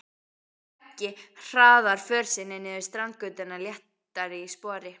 Beggi hraðar för sinni niður Strandgötuna léttari í spori.